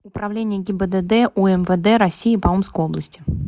управление гибдд умвд россии по омской области